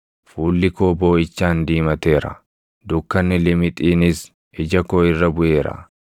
Fuulli koo booʼichaan diimateera; dukkanni limixiinis ija koo irra buʼeera.